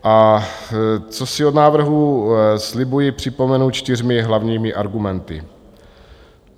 A co si od návrhu slibuji, připomenu čtyřmi hlavními argumenty.